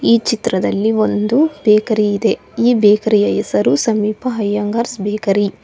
ಈ ಚಿತ್ರದಲ್ಲಿ ಒಂದು ಬೇಕರಿ ಇದೆ ಈ ಬೇಕರಿಯ ಹೆಸರು ಸಮೀಪ ಅಯ್ಯಂಗಾರ್ಸ್ ಬೇಕರಿ .